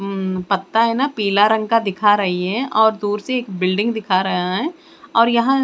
उम्म पत्ता हेना पिला रंग दिखा रही है और दूर से एक बिल्डिंग दिखा रहा है और यहाँ --